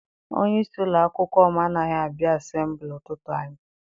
Onyeisi ụlọakwụkwọ m anaghị abịa asembuli ụtụtụ anyi.